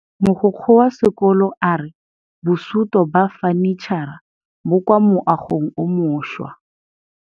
Mogokgo wa sekolo a re bosutô ba fanitšhara bo kwa moagong o mošwa.